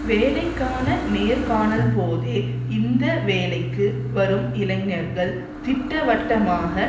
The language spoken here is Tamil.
வேலைக்கான நேர்காணல்போதே இந்த வேலைக்கு வரும் இளைஞர்கள் திட்டவட்டமாக